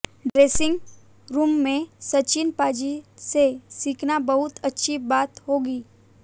dressing room में सचिन पाजी से सीखना बहुत अच्छी बात होगी